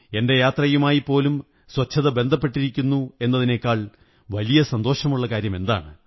എന്റെ യാത്രയുമായിപ്പോലും സ്വച്ഛത ബന്ധപ്പെട്ടിരിക്കുന്നു എന്നതിനേക്കാൾ വലിയ സന്തോഷമുള്ള കാര്യമെന്താണ്